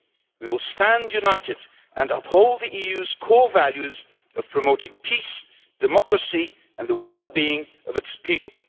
We will stand united and uphold the EU's core values of promoting peace, democracy and the well being of its people.